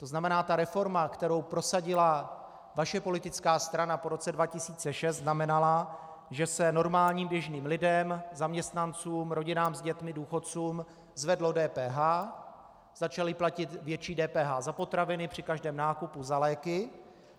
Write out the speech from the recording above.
To znamená ta reforma, kterou prosadila vaše politická strana po roce 2006, znamenala, že se normálním, běžným lidem, zaměstnancům, rodinám s dětmi, důchodcům zvedlo DPH, začali platit větší DPH za potraviny při každém nákupu, za léky.